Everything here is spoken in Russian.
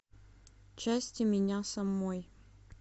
части меня самой